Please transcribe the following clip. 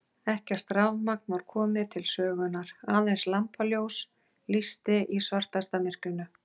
Ekkert rafmagn var komið til sögunnar, aðeins lampaljós lýsti í svartasta myrkrinu.